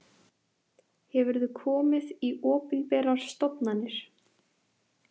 Hefurðu komið í opinberar stofnanir?